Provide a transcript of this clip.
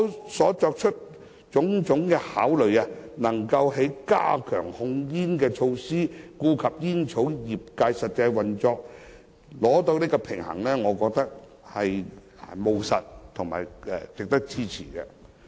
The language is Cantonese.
特區政府所作出的種種考慮，能夠在加強控煙措施與顧及煙草業界實際運作之間取得平衡，我認為是務實和值得支持的。